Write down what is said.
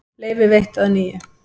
Leyfi veitt að nýju